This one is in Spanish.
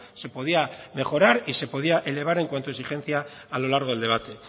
se podía mejorar y se podía elevar en cuanto a exigencia a lo largo del debate